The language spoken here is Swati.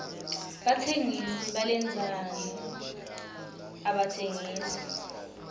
batsengisi balendzano abatsengisi